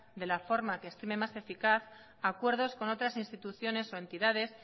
de la forma que estime más eficaz acuerdos con otras instituciones o entidades